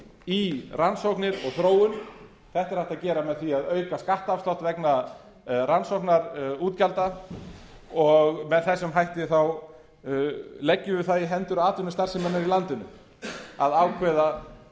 í rannsóknir og þróun þetta er hægt að gera með því að auka skattafslátt vegna rannsóknarútgjalda og með þessum hætti leggjum við það í hendur atvinnustarfseminnar í landinu að ákveða